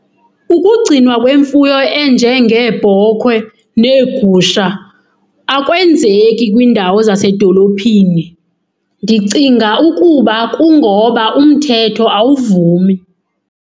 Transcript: Ukugcinwa kwemfuyo enjengeebhokhwe neegusha akwenzeki kwindawo zasedolophini. Ndicinga ukuba kungoba umthetho awuvumi.